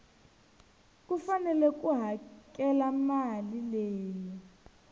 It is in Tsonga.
fanele ku hakela mali leyi